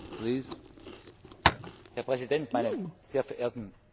Herr Präsident, meine sehr verehrten Damen und Herren Abgeordnete!